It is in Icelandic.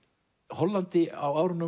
Hollandi á